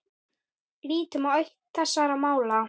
Lítum á eitt þessara mála.